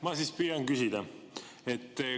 Ma siis püüan küsida.